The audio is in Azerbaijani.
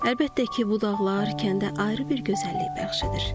Əlbəttə ki, bu dağlar kəndə ayrı bir gözəllik bəxş edir.